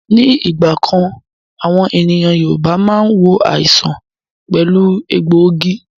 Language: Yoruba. Ní ìgbà kan, àwọn ènìyàn Yorùbá máa ń wo àìsàn pẹ̀lú egbòogi